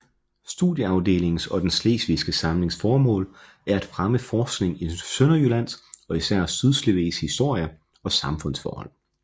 Studieafdelingens og Den Slesvigske Samlings formål er at fremme forskning i Sønderjyllands og især Sydslesvigs historie og samfundsforhold